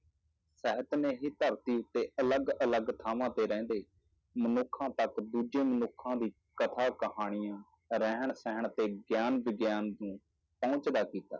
ਸਾਹਿਤ ਨੇ ਹੀ ਧਰਤੀ ਤੇ ਅਲੱਗ ਅਲੱਗ ਥਾਵਾਂ ਤੇ ਰਹਿੰਦੇ ਮਨੁੱਖਾਂ ਤੱਕ ਦੂਜੇ ਮਨੁੱਖਾਂ ਦੀ ਕਥਾ, ਕਹਾਣੀਆਂ, ਰਹਿਣ ਸਹਿਣ ਅਤੇ ਗਿਆਨ ਵਿਗਿਆਨ ਪਹੁੰਚਦਾ ਕੀਤਾ।